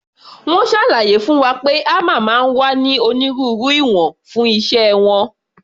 Wọ́n ṣàlàyé fún wa pé hámà máa ń wá ní onírúurú ìwọ̀n fún iṣẹ́ wọn.